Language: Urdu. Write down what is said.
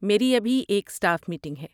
میری ابھی ایک اسٹاف میٹنگ ہے۔